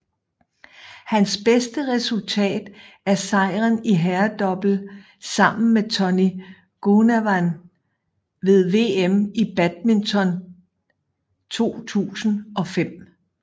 Hans bedste resultat er sejren i herredouble sammen med Tony Gunawan ved VM i badminton 2005